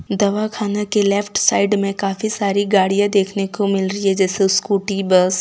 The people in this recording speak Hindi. दवा खाना के लेफ्ट साइड में काफी सारी गाड़ियां देखने को मिल रही है जैसे स्कूटी बस ।